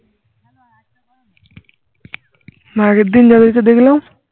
আগের দিন যাদেরকে দেখলাম